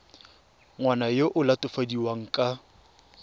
ngwana yo o latofadiwang ka